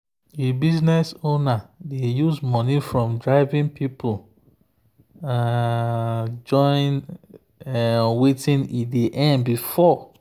the business owner dey use money from driving people um join um wetin e dey earn before.